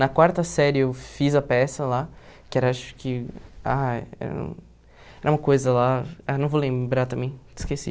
Na quarta série eu fiz a peça lá, que era acho que ah era era uma coisa lá... Ah não vou lembrar também, esqueci.